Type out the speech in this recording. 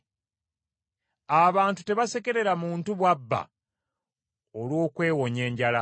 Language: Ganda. Abantu tebasekerera muntu bw’abba, olw’okwewonya enjala.